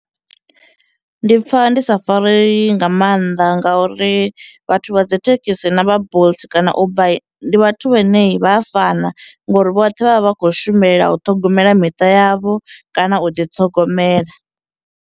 Ndi pfha ndi sa fareyi nga maanḓa ngauri vhathu vha dzi thekhisi na vha Bolt kana Uber ndi vhathu vhane vha fana ngori vhoṱhe vha vha vha khou shumela u ṱhogomela miṱa yavho kana u ḓiṱhogomela.